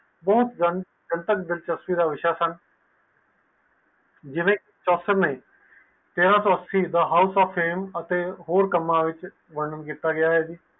ਜਿਵੇ ਤੇਰਾਸੋ ਅਸੀਂ ਦਾ house of fame ਹੋਰ ਕਾਮ ਵਿਚ ਵਾਰਨ ਕੀਤਾ ਗਿਆ ਹੈ